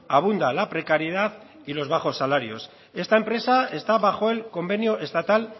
abunda la precariedad y los bajos salarios esta empresa está bajo el convenio estatal